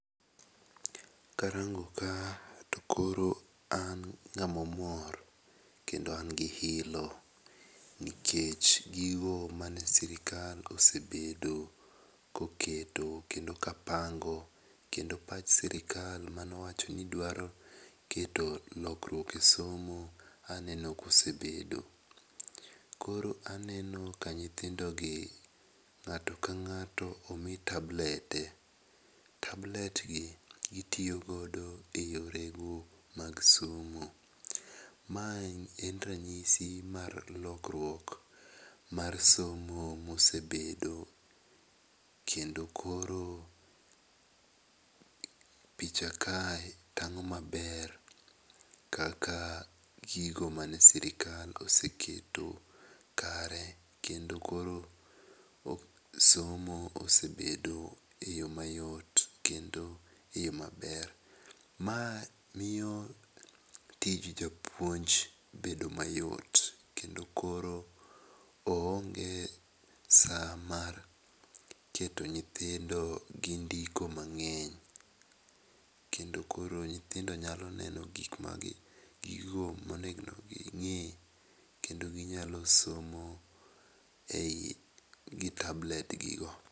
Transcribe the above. Karango ka to koro an ng'ama omor kendo an gi ilo nikech gigo man e sirkal osebedo kokelo kendo ka pango kendo pach sirklal mane owacho ni dwa keto lokruok e somo aneno ka osebedo. Koro aneno ka nyithindo gi ng'ato ka ng'ato omi tablede, tablet gi gi tiyo godo e yore go mag somo. Ma en ranyisi mar lokruok esomo ma osebedo kendo koro picha kae tang'o ma ber kaka gigo mane sirkal oseketo kare kendo kor somo osebedo e yo ma yot kendo e yo ma ber. Ma miyo tij japuonj bedo e yo ma yot kendo koro oonge saa mar keto nyithindo gi ndiko ma ngeny kendo koro nyithindo nyalo neno gik ma gigo ma onegno gi nge kendo gi nyalo somo e i gi tablet gi no.